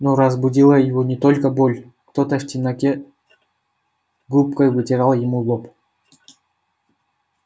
но разбудила его не только боль кто-то в темноте губкой вытирал ему лоб